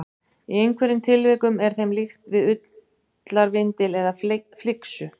Í einhverjum tilvikum er þeim líkt við ullarvindil eða flyksu.